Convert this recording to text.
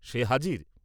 সে হাজির।